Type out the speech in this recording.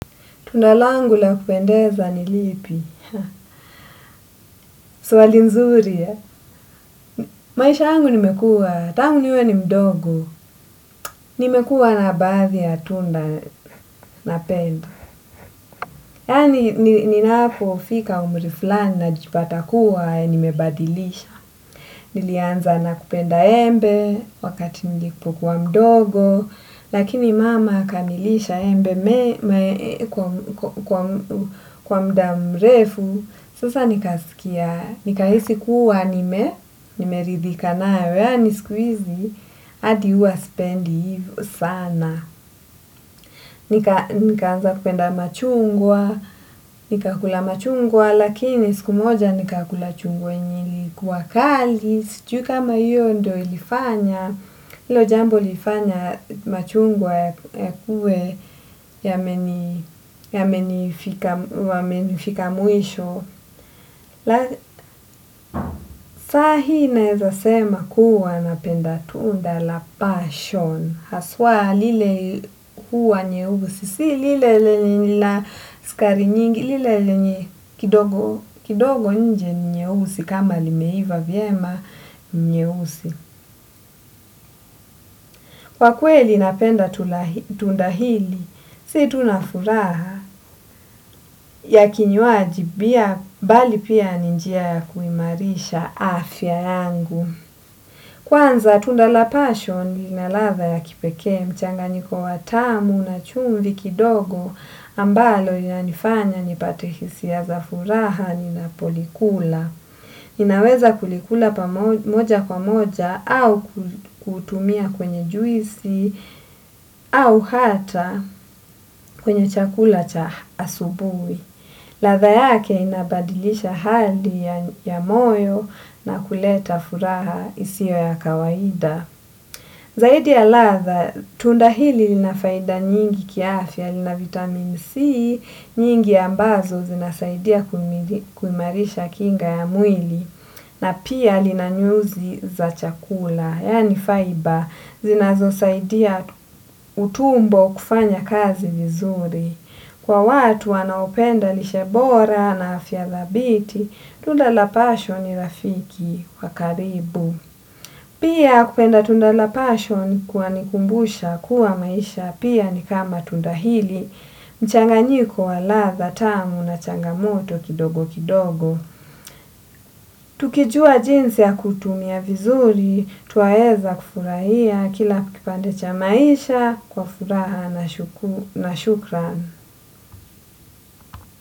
Tunda langu la kupendeza ni lipi, swali mzuri. Maisha yangu nimekua, tangu niwe ni mdogo, nimekuwa na baadhi ya tunda napenda. Yani ninapofika umri fulani najipata kuwa, nimebadilisha. Nilianza nakupenda embe wakati nilipokuwa mdogo, lakini mama akanilisha embe kwa muda mrefu. Sasa nikasikia, nikahisi kuwa nime, nimeridhika nayo yani siku hizi, hadi huwa sipendi hivyo sana. Nika nikaanza kupenda machungwa, nikakula machungwa, lakini siku moja nikakula chungwa yenye. Kuwa kali, sijui kama iyo ndio ilifanya, ilo jambo lilifanya machungwa yakuwe yamenifika mwisho. Saa hii naweza sema kuwa napenda tunda la pashoni haswa lile huwa nyeusi si lile lenye lina sukari nyingi. Lile lenye kidogo kidogo nje ni nyeusi. Kama limeiva vyema ni nyeusi. Kwa kweli napenda tunda hili. Si tunafuraha ya kinywaji bia bali pia ni njia kuimarisha afya yangu. Kwanza tunda la pashoni lina ladha ya kipekee mchanganyiko wa tamu na chumvi kidogo ambalo linanifanya nipate hisia za furaha ninapolikula. Ninaweza kulikula moja kwa moja au kutumia kwenye juisi au hata kwenye chakula cha asubuhi. Ladha yake inabadilisha hali ya moyo na kuleta furaha isiyo ya kawaida. Zaidi ya ladha, tunda hili lina faida nyingi kiafya, lina vitamin C, nyingi ambazo zinasaidia kuimarisha kinga ya mwili, na pia lina nyuzi za chakula, yani fiber, zinazo saidia utumbo kufanya kazi vizuri. Kwa watu wanaopenda lishe bora na afya dhabiti, tunda la pashoni ni rafiki wa karibu. Pia kupenda tunda la passion kuna nikumbusha kuwa maisha pia ni kama tunda hili, mchanganyiko wa ladha tamu na changamoto kidogo kidogo. Tukijua jinsi ya kutumia vizuri, twaweza kufurahia kila kipande cha maisha kwa furaha na shukrani.